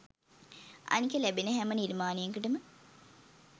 අනික ලැබෙන හැම නිර්මාණයකටම